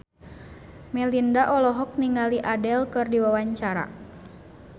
Melinda olohok ningali Adele keur diwawancara